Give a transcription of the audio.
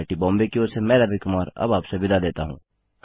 IIT Bombay की ओर से मैं रवि कुमार अब आपसे विदा लेता हूँ